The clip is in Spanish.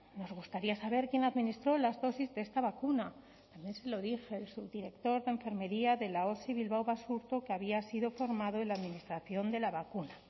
pregunta nos gustaría saber quién administró las dosis de esta vacuna también se lo dije el subdirector de enfermería de la osi bilbao basurto que había sido formado en la administración de la vacuna